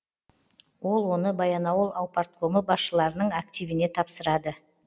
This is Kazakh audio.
ол оны баянауыл аупарткомы басшыларының активіне тапсырады